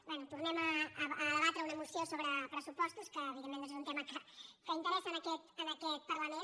bé tornem a debatre una moció sobre pressupos·tos que evidentment doncs és un tema que interessa en aquest parlament